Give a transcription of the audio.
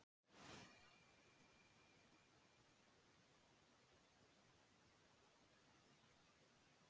Í dag er álitið að samspil líffræðilegra, sálfræðilegra og félagslegra þátta ráði þróun alkóhólisma.